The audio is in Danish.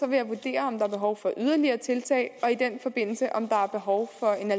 jeg vurdere om der er behov for yderligere tiltag og i den forbindelse vurdere om der er behov